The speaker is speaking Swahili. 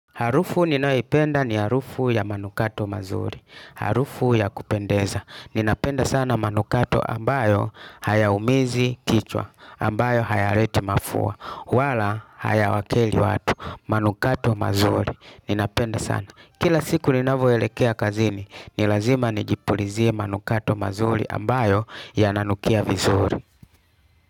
Harufu ninayoipenda ni harufu ya manukato mazuri, harufu ya kupendeza. Ninapenda sana manukato ambayo hayaumizi kichwa. Ambayo hayaleti mafua, wala hayawakeri watu, manukato mazuri. Ninapenda sana. Kila siku ninavoelekea kazini, nilazima nijipulizie manukato mazuri ambayo yananukia vizuri.